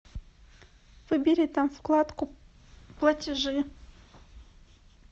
выбери там вкладку платежи